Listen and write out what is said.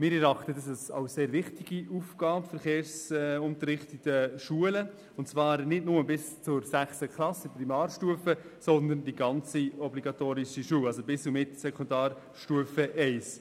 Wir erachten den Verkehrsunterricht in den Schulen als eine sehr wichtige Aufgabe, und zwar nicht nur bis zur sechsten Klasse der Primarstufe, sondern während der ganzen obligatorischen Schulzeit, also bis und mit Sekundarstufe I.